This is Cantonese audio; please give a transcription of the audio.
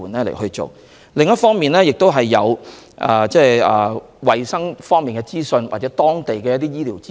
另一方面，我們亦提供衞生方面或當地醫療的資訊。